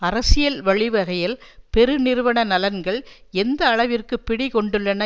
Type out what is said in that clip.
அரசியல் வழிவகையில் பெருநிறுவன நலன்கள் எந்த அளவிற்கு பிடி கொண்டுள்ளன